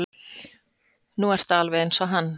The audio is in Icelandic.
Nú ertu alveg eins og hann.